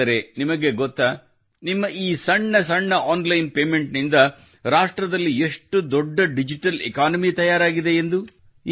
ಆದರೆ ನಿಮಗೆ ಗೊತ್ತಾ ನಿಮ್ಮ ಈ ಸಣ್ಣ ಸಣ್ಣ ಆನ್ಲೈನ್ ಪೇಮೆಂಟ್ ನಿಂದ ರಾಷ್ಟ್ರದಲ್ಲಿ ಎಷ್ಟು ದೊಡ್ಡ ಡಿಜಿಟಲ್ ಎಕಾನಮಿ ತಯಾರಾಗಿದೆ ಎಂದು